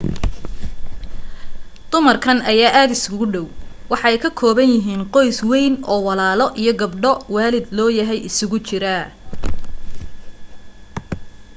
dumarkan ayaa aad iskugu dhaw waxa ay ka kooban yihiin qoys weyn oo walaalo iyo gabdha waalid loo yahay iskugu jira